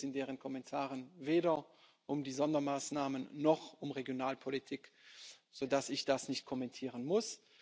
Zudem ging es in deren Kommentaren weder um die Sondermaßnahmen noch um Regionalpolitik, sodass ich das nicht kommentieren muss.